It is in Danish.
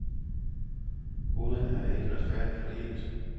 Goderne er ikke retfærdigt fordelt.